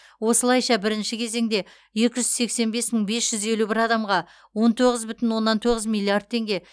осылайша біріңші кезеңде екі жүз сексен бес мың бес жүз елу бір адамға он тоғыз бүтін оннан тоғыз миллиард теңге